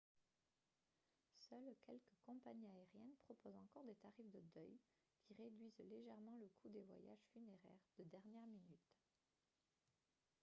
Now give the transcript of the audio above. seules quelques compagnies aériennes proposent encore des tarifs de deuil qui réduisent légèrement le coût des voyages funéraires de dernière minute